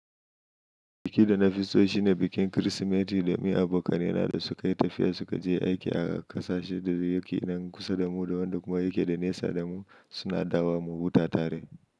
Biki da na fiso shine bikin Kirsimeti da mai abokanaina da su ka yi tafiya su ka je aiki a ƙasashe da yaki nan kusa da mu da wanda kuma yake da nesa da mu suna dawa mu huta tare.